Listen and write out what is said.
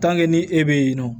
ni e bɛ yen nɔ